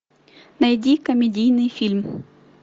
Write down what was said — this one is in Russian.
найди комедийный фильм